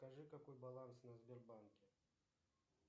скажи какой баланс на сбербанке